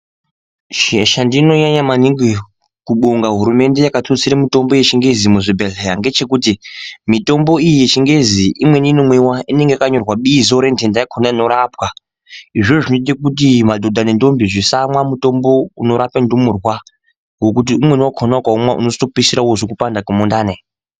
Chendinonyanya maningi kubonga hurumende yakatutsire mitombo yeChiNgezi muzvibhedhleya ngechekuti mitombo iyi yeChiNgezi imweni inomwiwa inenga yakanyorwa bizo rendenda yakona inorapwa. Izvozvo zvinoite kuti madhodha nendombi zvisamwa mutombo unorape ndumurwa ngokuti umweni wakona ukaumwa unozotopedzisira wozwe kupanda kwemundani.